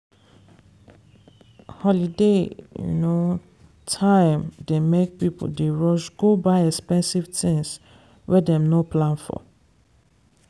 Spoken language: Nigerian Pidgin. holiday time dey make people dey rush go buy expensive things wey dem no plan for.